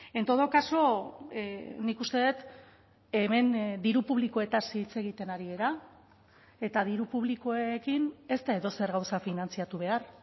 en todo caso nik uste dut hemen diru publikoetaz hitz egiten ari gara eta diru publikoekin ez da edozer gauza finantzatu behar